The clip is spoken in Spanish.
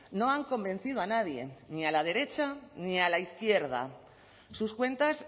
no han convencido a nadie ni a la derecha ni a la izquierda sus cuentas